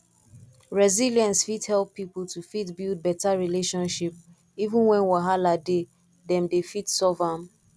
resilience fit help pipo to fit build better relationship even when wahala dey dem dey fit solve am